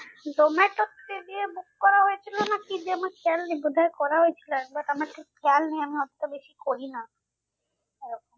জোমাটোতে গিয়ে book করা হয়েছিল না কি দিয়ে আমার খেয়াল নেই বোধহয় করা হয়েছিল আমার ঠিক খেয়াল নেই আমি অতটা বেশি করি না